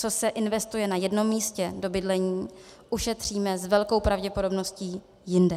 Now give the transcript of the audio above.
Co se investuje na jednom místě do bydlení, ušetříme s velkou pravděpodobností jinde.